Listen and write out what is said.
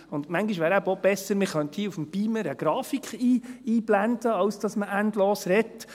Manchmal wäre es eben auch besser, man könnte hier mit dem Beamer eine Grafik einblenden, anstatt dass man endlos redet.